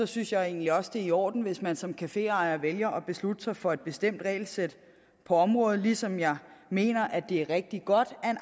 synes jeg egentlig også det er i orden hvis man som caféejer vælger at beslutte sig for et bestemt regelsæt på området ligesom jeg mener at det er rigtig godt at en